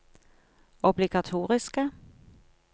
obligatoriske